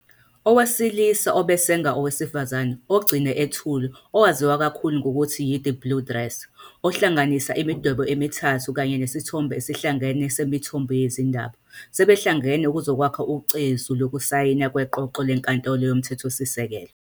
"Owesilisa Obe Sang Owesifazane Ogcine Ethule 'owaziwa kakhulu ngokuthi yi-" The Blue Dress', ohlanganisa imidwebo emithathu kanye nesithombe esihlangene semithombho yezindaba, sebehlangene ukuzokwakha ucezu lokusayina kweqoqo leNkantolo Yomthethosisekelo.